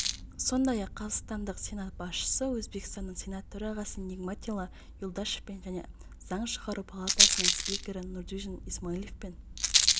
сондай-ақ қазақстандық сенат басшысы өзбекстанның сенат төрағасы нигматилла юлдашевпен және заң шығару палатасының спикері нурдинжон исмоиловпен